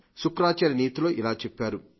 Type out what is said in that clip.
శుక్రాచార్య నీతిలో ఇలా చెబుతారు